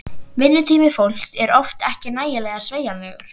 Vinnutími fólks er oft ekki nægilega sveigjanlegur.